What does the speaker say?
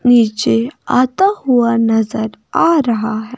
नीचे आता हुआ नजर आ रहा--